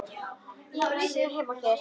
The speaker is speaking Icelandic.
Ég á ekki heima hér.